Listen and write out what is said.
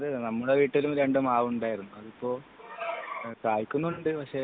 അത് നമ്മളെ വീട്ടിലും രണ്ടു മാവുണ്ടായിരുന്നു . ഇപ്പൊ കയ്ക്കുന്നുണ്ട് പക്ഷെ